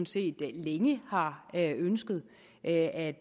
set længe har ønsket at